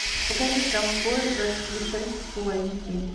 покажи ковбои против пришельцев фул эйч ди